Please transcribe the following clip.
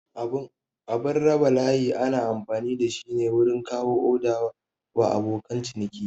Abun raba layi ana amfani dashi ne wurin kawo oda wa abokan ciniki